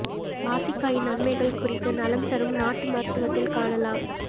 மாசிக்காயின் நன்மைகள் குறித்து நலம் தரும் நாட்டு மருத்துவத்தில் காணலாம்